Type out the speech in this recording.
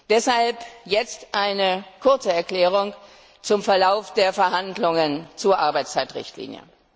Deshalb jetzt eine kurze Erklärung zum Verlauf der Verhandlungen zur Arbeitszeitrichtlinie.